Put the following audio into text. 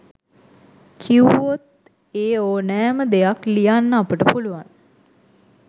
කිව්වොත් ඒඕනෑම දෙයක් ලියන්න අපට පුළුවන්.